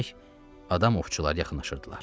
Demək, adam ovçular yaxınlaşırdılar.